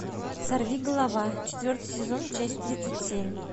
сорви голова четвертый сезон часть тридцать семь